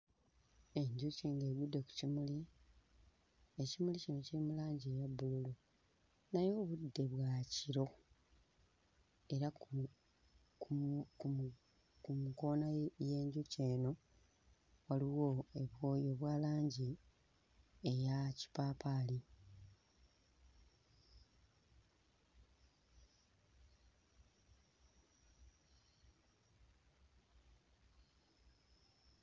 Enjuki ng'egudde ku kimuli ekimuli kino kiri mu langi eya bbululu naye obudde bwa kiro era ku ku mu ku nkoona ye y'enjuki eno waliwo ebo obwa langi eya kipaapaali.